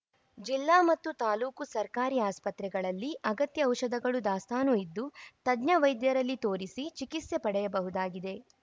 ಜಿಲ್ಲಾ ಮತ್ತು ತಾಲೂಕು ಸರ್ಕಾರಿ ಆಸ್ಪತ್ರೆಗಳಲ್ಲಿ ಅಗತ್ಯ ಔಷಧಗಳು ದಾಸ್ತಾನು ಇದ್ದು ತಜ್ಞ ವೈದ್ಯರಲ್ಲಿ ತೋರಿಸಿ ಚಿಕಿತ್ಸೆ ಪಡೆಯಬಹುದಾಗಿದೆ